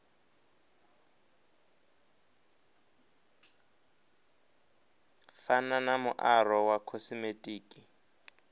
fana na muaro wa khosimetiki